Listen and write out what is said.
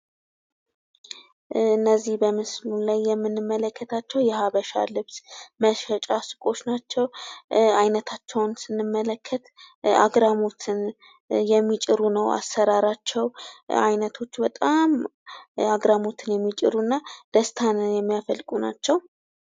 እነዚህ በምስሉ ላይ የምንመለከታቸው የሀበሻ ልብስ መሸጫ ሱቆች ናቸው። አይነታቸውንም ስንመልከት አግራሞትን የሚጭሩ ናቸው። አይኖቶች በጣም አግራሞትን የሚጭሩ እና ደስታን የሚያፈልቁ ናቸው።